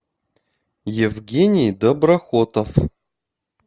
евгений доброхотов